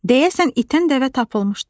Deyəsən, itən dəvə tapılmışdı.